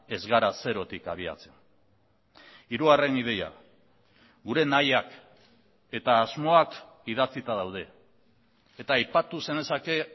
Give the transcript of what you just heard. ez gara zerotik abiatzen hirugarren ideia gure nahiak eta asmoak idatzita daude eta aipatu zenezake